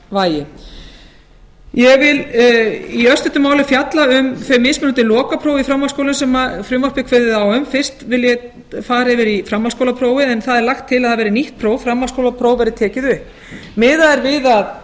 einingavægi ég vil í örstuttu máli fjalla um þau mismunandi lokapróf í framhaldsskólum sem frumvarpið kveður á um fyrst vil ég fara yfir í framhaldsskólaprófið en það er lagt til að það verði nýtt próf framhaldsskólapróf verði tekið upp miðað er við að